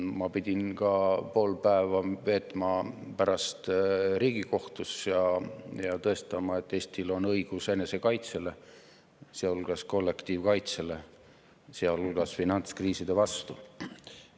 Ma pidin pärast pool päeva veetma Riigikohtus ja tõestama, et Eestil on õigus enesekaitsele, sealhulgas kollektiivkaitsele ja ka finantskriiside vastu.